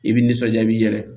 I bi nisɔnja i yɛrɛ ye